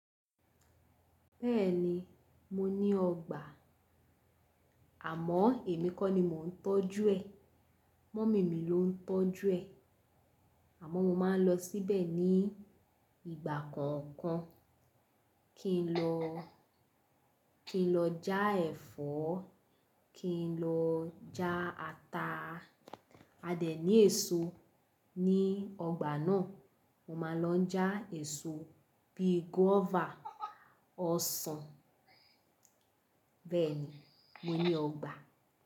Bẹ́ẹ̀ni mo ní ọgbà, àmọ́ èmi kọ́ ni mò ń tọ́jú ẹ̀, mọ́mì mi ló ń tọ́jú ẹ̀. Àmọ́ mo máa ń lọ síbẹ̀ ní ìgbà kọ̀ọ̀kan kí n lọ, kí n lọ já ẹ̀fọ́, kí n lọ já ata. A dẹ̀ ní èso ní ọgbà náà, mo máa lọ já èso bíi gúọ́và, ọsàn. Bẹ́ẹ̀ni mo ní ọgbà.